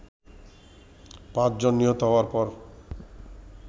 পাঁচজন নিহত হওয়ার পর